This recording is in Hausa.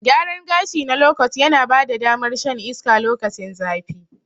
Gyaran gashi na lokot yana bada damar shan iska lokacin zafi.